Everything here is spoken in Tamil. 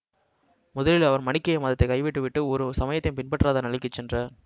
முதலில் அவர் மனிக்கேய மதத்தைக் கைவிட்டுவிட்டு ஒரு சமயத்தையும் பின்பற்றாத நிலைக்கு சென்றார்